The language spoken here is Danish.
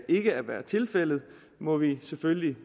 ikke at være tilfældet må vi selvfølgelig